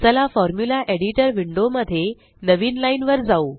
चला formula editor window मध्ये नवीन लाइन वर जाऊ